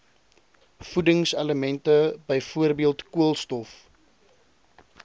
voedingselemente byvoorbeeld koolstof